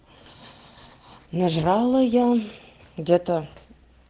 нажрала я где-то